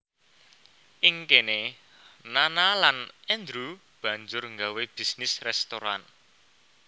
Ing kene Nana lan Andrew banjur nggawé bisnis restoran